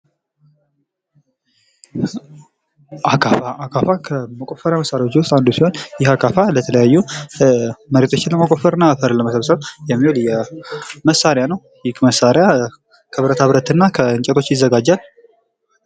አካፋ አካፋ፦ ከመቆፈሪያ መሳሪያዎች ውስጥ አንዱ ሲሆን ይህ አካፋ ለተለያዩ መሬቶችን ለመቆፈር እና አፈርን ለመሰብሰብ የሚውል መሳሪያ ነው። ይህ መሳሪያ ከብረታብረት እና ከእንጨቶች ይዘጋጃል።